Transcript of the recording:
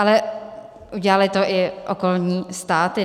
Ale udělaly to i okolní státy.